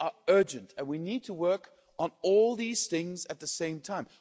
things are urgent and we need to work on all these things at the same time.